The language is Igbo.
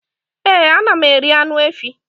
Ee ana m eri anụ efỊ